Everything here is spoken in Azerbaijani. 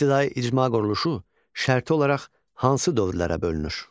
İbtidai icma quruluşu şərti olaraq hansı dövrlərə bölünür?